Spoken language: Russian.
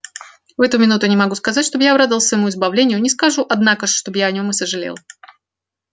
в эту минуту не могу сказать чтоб я обрадовался своему избавлению не скажу однако ж чтоб я о нем и сожалел